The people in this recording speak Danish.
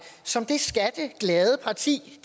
som det skatteglade parti